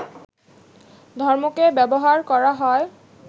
ধর্মকে ব্যবহার করা হয়